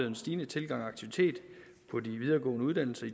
en stigende tilgang og aktivitet på de videregående uddannelser